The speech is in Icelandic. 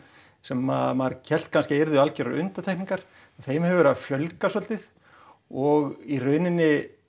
sem maður hélt kannski að yrðu algjörar undantekningar þeim hefur verið að fjölga svolítið og í rauninni